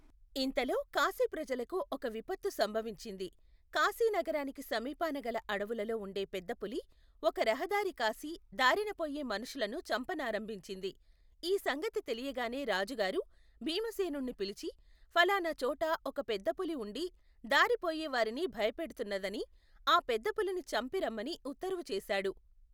ఇంతలో కాశీప్రజలకు ఒక విపత్తు సంభవించింది. కాశీనగరానికి సమీపాన గల అడవులలో ఉండే పెద్దపులి ఒక రహదారి కాసి దారిన పొయ్యే మనుషులను చంపనారంభించింది. ఈ సంగతి తెలియగానే రాజుగారు భీమసేనుణ్ణి పిలిచి, ఫలానా చోట ఒక పెద్దపులి ఉండి దారి పోయే వారిని భయపెడుతున్నదనీ, ఆ పెద్దపులిని చంపి రమ్మనీ ఉత్తరువుచేశాడు.